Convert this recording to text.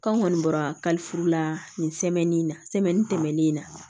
Kan kɔni bɔra kalifuru la nin na tɛmɛnen in na